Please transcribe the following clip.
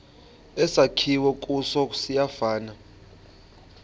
esakhiwe kuso siyafana